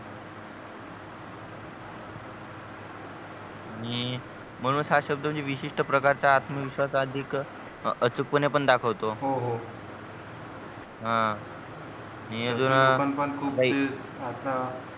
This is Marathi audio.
म्हणून च हा शब्द म्हणजे विशिष्ट्य प्रकारचा आत्मविश्वास अधिक अचूक पाने पण दाखवतो हो हो हा आणि अजून